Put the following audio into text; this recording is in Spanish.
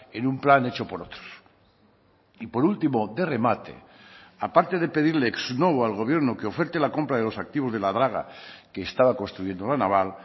en un plan hecho por otros y por último de remate aparte de pedirle ex novo al gobierno que oferte la compra de los activos de la draga que estaba construyendo la naval